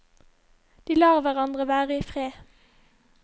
De lar hverandre være i fred.